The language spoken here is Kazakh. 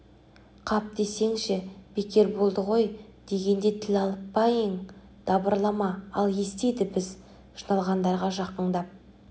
қап десеңші бекер болды қой дегенде тіл алып па ең дабырлама ел естиді біз жиналғандарға жақыңдап